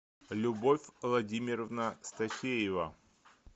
любовь владимировна стафеева